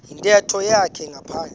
yintetho yakhe ngaphandle